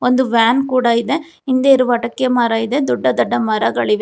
ಒಂದು ಬ್ಯಾನ್ ಕೂಡ ಇದೆ ಹಿಂದೆ ಇರುವ ಅಡಿಕೆ ಮರ ಇದೆ ದೊಡ್ಡ ದೊಡ್ಡ ಮರಗಳಿವೆ.